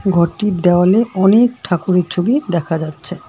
ঘরটির দেওয়ালে অনেক ঠাকুরের ছবি দেখা যাচ্ছে।